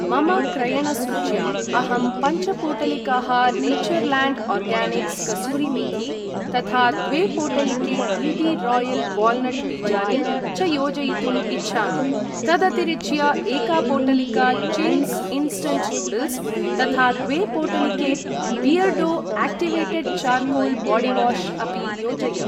मम क्रयणसूच्याम् अहं पंच पोटलिकाः नेचर्लाण्ड् आर्गानिक्स् कसूरि मेथि , तथा द्वे पोटलिके बी.बी.रायल् वाल्नट् बीजानि च योजयितुम् इच्छामि। तदतिरिच्य एका पोटलिका चिङ्ग्स् इन्स्टण्ट् नूड्ल्स् , तथा द्वे पोटलिके बियर्डो आक्टिवेटेड् चार्कोल् बाडिवाश् अपि योजय।